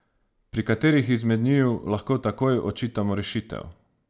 Pri kateri izmed njiju lahko takoj odčitamo rešitev?